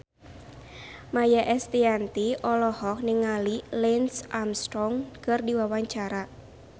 Maia Estianty olohok ningali Lance Armstrong keur diwawancara